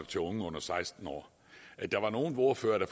til unge under seksten år der var nogle ordførere